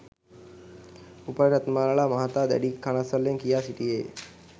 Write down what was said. උපාලි රත්නමලල මහතා දැඩි කනස්‌සල්ලෙන් කියා සිටියේය.